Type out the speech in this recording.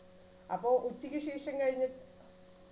അപ്പൊ ഉച്ചയ്ക്ക് ശേഷം കഴിഞ്ഞു